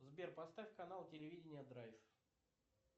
сбер поставь канал телевидение драйв